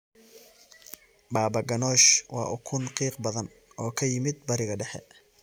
Baba ganoush waa ukun qiiq badan oo ka yimid Bariga Dhexe.